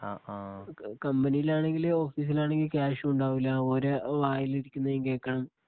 കമ്പനിയിൽ ആണെങ്കില് ഓഫീസിലാണെങ്കിൽ ക്യാഷും ഉണ്ടാവൂല ഓര വായിലിരിക്കുന്നതും കേക്കണം